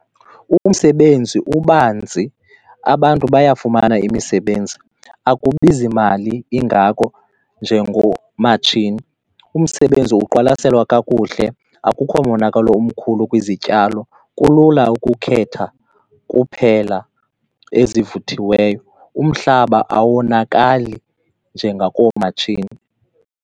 Umsebenzi ubanzi, abantu bayafumana imisebenzi, akubizi mali ingako njengoomatshisi. Umsebenzi uqwalaselwa kakuhle, akukho monakalo umkhulu kwizityalo, kulula ukukhetha kuphela ezivuthiweyo, umhlaba awonakali njengakoomatshini.